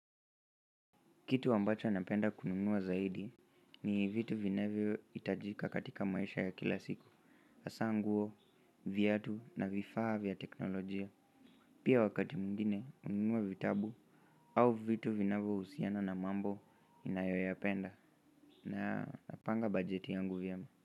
Kitu ambacho napenda kununua zaidi ni vitu vinavyoitajika katika maisha ya kila siku hasa nguo, viatu na vifaa vya teknolojia pia wakati mwingine kununua vitabu au vitu vinavyohusiana na mambo ninayoyapenda na napanga bajeti yangu vyema.